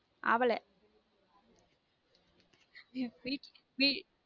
ஆவ .